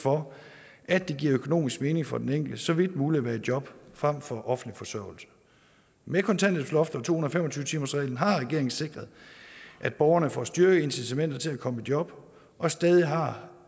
for at det giver økonomisk mening for den enkelte så vidt muligt at være i job frem for på offentlig forsørgelse med kontanthjælpsloftet og to hundrede og fem og tyve timersreglen har regeringen sikret at borgerne får styrkede incitamenter til at komme i job og stadig har